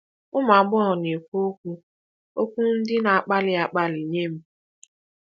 Ụmụ agbọghọ na-ekwu okwu okwu ndị na-akpali akpali nye m.